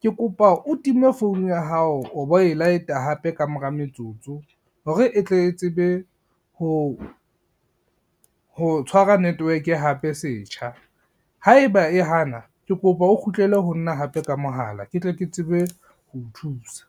ke kopa o time founu ya hao o bo e light-a hape ka mora metsotso, hore e tle tsebe ho tshwara network-e hape setjha, haeba e hana ke kopa o kgutlele ho nna hape ka mohala ke tle ke tsebe ho o thusa.